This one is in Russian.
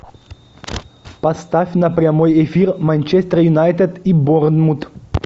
поставь на прямой эфир манчестер юнайтед и борнмут